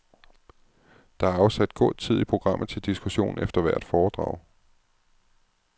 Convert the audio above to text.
Der er afsat god tid i programmet til diskussion efter hvert foredrag.